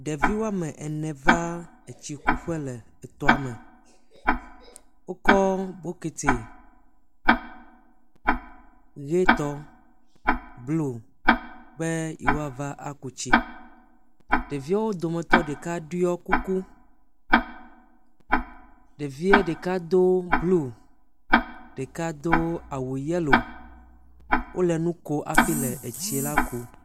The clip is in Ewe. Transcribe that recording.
Ɖevi woame ene va etsi kuƒe le etɔa me. Wokɔ bɔkiti ʋi tɔ, bluo be ye woava aku tsi. Ɖeviawo dometɔ ɖeka ɖoɔ kuku. Ɖevie ɖeka do bluo, deka do awu yɛlo. Wole nu ko afi le etsi la kum.